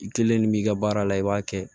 I kelen de b'i ka baara la i b'a kɛ